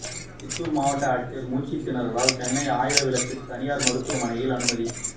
சித்தூர் மாவட்ட ஆட்சியர் மூச்சுத்திணறலால் சென்னை ஆயிரம் விளக்கு தனியார் மருத்துவமனையில் அனுமதி